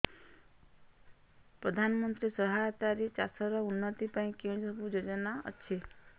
ପ୍ରଧାନମନ୍ତ୍ରୀ ସହାୟତା ରେ ଚାଷ ର ଉନ୍ନତି ପାଇଁ କେଉଁ ସବୁ ଯୋଜନା ଅଛି